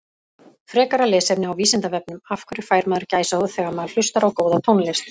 Frekara lesefni á Vísindavefnum Af hverju fær maður gæsahúð þegar maður hlustar á góða tónlist?